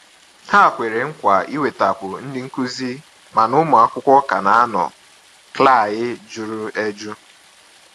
Ha kwere nkwa iwetakwu ndị nkuzi, mana ụmụ akwụkwọ ka na -anọ klaaai jụrụ ejụ.